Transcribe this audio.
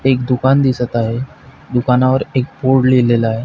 एक दुकान दिसत आहे दुकानावर एक बोर्ड लिहिलेला आहे.